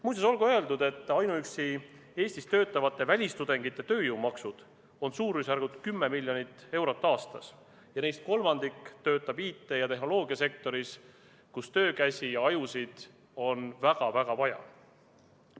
Muuseas, olgu öeldud, et ainuüksi Eestis töötavate välistudengite tööjõumaksud on suurusjärgus 10 miljonit eurot aastas ja neist kolmandik töötab IT- ja tehnoloogiasektoris, kus töökäsi ja ajusid on väga-väga vaja.